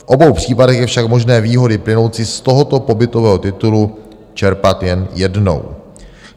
V obou případech je však možné výhody plynoucí z tohoto pobytového titulu čerpat jen jednou.